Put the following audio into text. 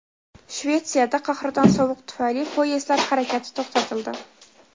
Shvetsiyada qahraton sovuq tufayli poyezdlar harakati to‘xtatildi.